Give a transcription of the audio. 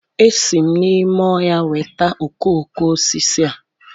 Esi m n'ime ọhịa weta okoko osisi a